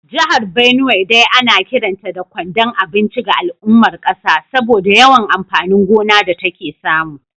Jihar Benue dai ana kiranta da kwandon abinci ga al’ummar kasa saboda yawan amfanin gona da take samu